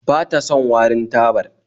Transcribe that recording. Ba ta son warin tabar